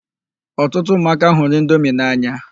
Ọtụtụ ụmụaka hụrụ indomi n'anya.